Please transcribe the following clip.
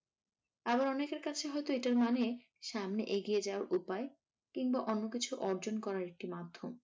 আরো অনেকের কাছে হয়তো এটার মানে সামনে এগিয়ে যাওয়ার উপায় কিংবা অন্যকিছু অর্জন করার একটি মাধ্যম।